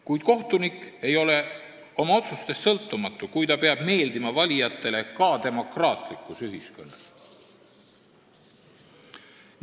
Kuid kohtunik ei ole oma otsustes sõltumatu, kui ta peab meeldima valijatele ka demokraatlikus ühiskonnas.